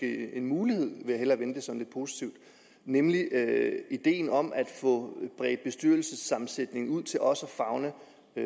det en mulighed nemlig ideen om at få bredt bestyrelsessammensætningen ud til også at favne